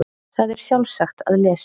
Það er sjálfsagt að lesa